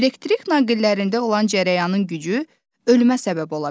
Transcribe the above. Elektrik naqillərində olan cərəyanın gücü ölməyə səbəb ola bilər.